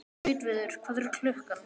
Gautviður, hvað er klukkan?